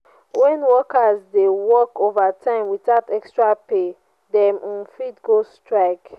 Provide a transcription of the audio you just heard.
when workers dey work overtime without extra pay dem um fit go strike.